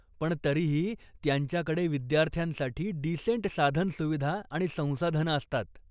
पण तरीही त्यांच्याकडे विद्यार्थ्यांसाठी डिसेंट साधनसुविधा आणि संसाधनं असतात.